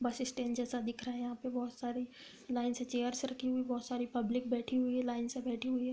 बस स्टैंड जैसे दिख रहा है यहाँ पे बोहोत सारे लाइन से चैरस रखी हुई हैं। बोहोत सारी पब्लिक बैठी हुई है। लाइन से बैठी हुई है।